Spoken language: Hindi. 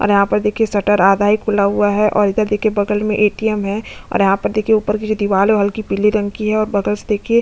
और यहाँ पर देखिये शटर आधा ही खुला हुआ है और इधर देखिये बगल में ए_टी_एम हैं और यहाँ पर देखिये ऊपर की जो दीवाल है वो हल्की पीले रंग की है और बगल से देखिये --